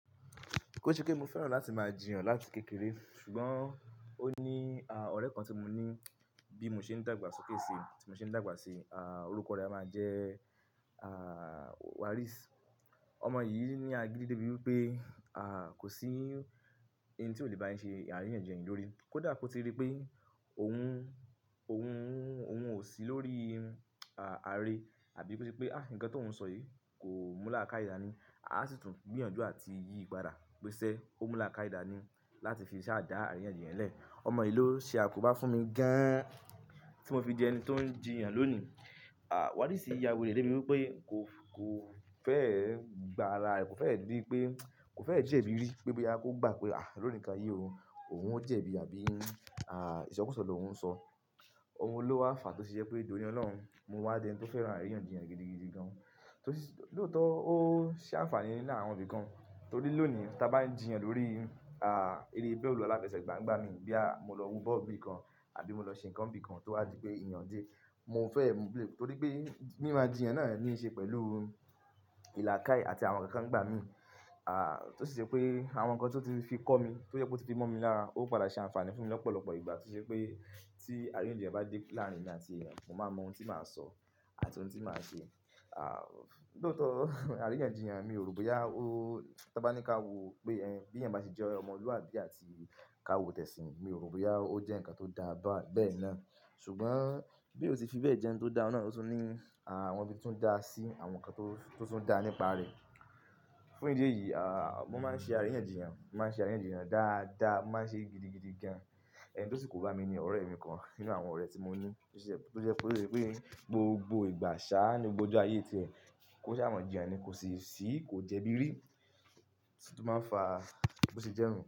Kò ń ṣe pé mo fẹ́ràn láti máa jìyàn láti kékeré ṣùgbọ́n ó ní ọ̀rẹ́ kan tí mo ní bí mo ṣe ń dàgbà sókè si, tí mo ṣe ń dàgbà sí, ọrúkọ rẹ a máa jẹ́ Waris. Ọmọ yìí ni agídí dé bíi pé kò sí hun tí ó le bá yín ṣe àríyànjiyàn lè lórí. Kódà kó ti rí pé òun ò sí lórí àre àbí bó se pé nǹkan tó wù ń sọ yìí kò mú làákàidàní. A sì tún gbìyànjú àti yí padà pé ṣé ó mú làákàidàní láti fi ṣàdá àríyànjiyàn lẹ́ẹ̀. Ọmọ yìí ló ṣe akóba fún mi gan an tí mo fi di ẹni tó ń jìyàn lónìí. Waris ya werey dé bí wí pé kò fẹ́ gba ara rẹ̀, kò fẹ́ rí pé, kò fẹ́ jẹ̀bi rí pé boya kó gbà pé lóòní kán yi o, òun ó jẹ̀bi àbí ìsọkúsọ ló hún ń sọ. Òun ló wà fàá tó ṣe jé pé doni ó lọ́hùn mo wa di ẹni tó fẹ́ràn àríyànjiyàn gidigidi gan. Lóòótọ́ ó ṣé àǹfààní nínú àwọn ibi kan torí lónìí ta bá ń jìyàn lórí eré bòòlù aláfẹsẹ̀gbá ń gbá mi bí a mo lọ wú bọ́ọ̀lù bí kan àbí mo lọ ṣe nǹkan bí kan tó wá di pé ìyàn dé, mo fẹ́ ẹ mú béè. Torí pé mímá jìyàn náà ní í ṣe pẹ̀lú ìlàkàí àti àwọn nǹkan kan ń gbá mi. Tó sì ṣe pé àwọn nǹkan tí ó ti fi kọ́ mi, tó jẹ́ pé ó ti fi mọ́ mi lára ó padà ṣe àǹfààní fún mi lọ́pọ̀lọpọ̀ ìgbà tó ṣe pé tí àríyànjiyàn bá dé láàrin mi àti ẹ̀eyan, mo máa mọ oun tí màá sọ àti oun tí màá ṣe. Lóòótọ́ àríyànjiyàn mi ò rò bóyá tí a bá ní ká wo pé bí ẹ̀yin bá ṣe jẹ́ ọmọlúwàbí àti ká wo tẹ̀sìn, mi ò rò bóyá ó jẹ́ nǹkan tó dáa bẹ́ẹ̀ náà. Ṣùgbọ́n bí ó ti fi bẹ́ẹ̀ jẹ́ n tó dáa náà ló tún ní àwọn ibi to dá sí àwọn nǹkan tó tún ń dá nípa rẹ̀. Fún ìdí èyí, mo máa ń ṣe àríyànjiyàn, mo máa ń ṣe àríyànjiyàn dáadáa, mo máa ń ṣe é gidigidi gan. Ẹni to sibkò bá mi ni ọ̀rẹ́ mi kan nínú àwọn ọ̀rẹ́ tí mo ní tó jẹ́ pé gbogbo ìgbà ṣáá ni gbogbo ayé tí ẹ, kó ṣáá màa jíyàn ni kò sì ṣìí, kò jẹ̀bi rí tí ó máa fàá kó ṣe jẹ́ nu.